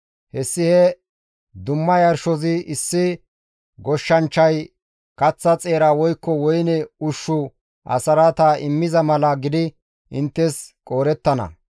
Hessi he dumma yarshozi issi goshshanchchay kaththa xeera woykko woyne ushshu asraata immiza mala gidi inttes qoodettana.